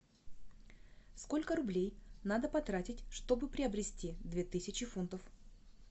сколько рублей надо потратить чтобы приобрести две тысячи фунтов